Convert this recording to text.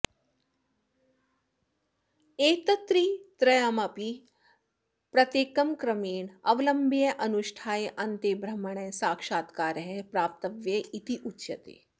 एतत्त्रयमपि प्रत्येकं क्रमेण अवलम्ब्य अनुष्ठाय अन्ते ब्रह्मणः साक्षात्कारः प्राप्तव्यः इत्युच्यते